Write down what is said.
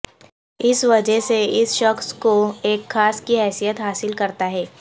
اس وجہ سے اس شخص کو ایک خاص کی حیثیت حاصل کرتا ہے